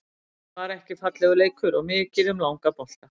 Þetta var ekki fallegur leikur og mikið um langa bolta.